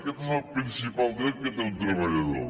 aquest és el principal dret que té un treballador